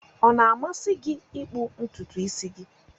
Ọ na-amasị gị ịkpụ ntutu isi gị?